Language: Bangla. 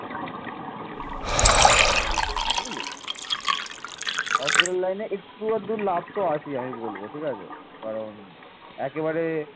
একটু আধটু লাভ তো আছেই আমি বলব ঠিক আছে কারণ একেবারে